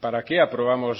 para qué aprobamos